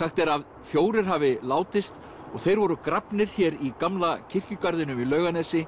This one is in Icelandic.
sagt er að fjórir hafi látist og þeir voru grafnir hér í gamla kirkjugarðinum í Laugarnesi